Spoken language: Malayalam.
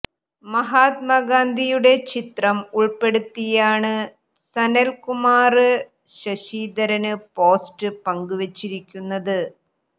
മഹാത്മാ ഗാന്ധിയുടെ ചിത്രം ഉള്പ്പെടുത്തിയാണ് സനല് കുമാല് ശശിധരന് പോസ്റ്റ് പങ്കുവെച്ചിരിക്കുന്നത്